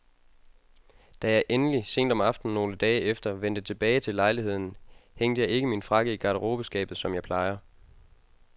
Da jeg endelig, sent om aftenen nogle dage efter, vendte tilbage til lejligheden, hængte jeg ikke min frakke i garderobeskabet, som jeg plejer.